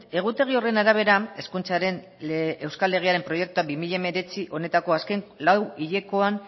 egutegi horren arabera hezkuntzaren euskal legearen proiektua bi mila hemeretzi honetako azken lau hilekoan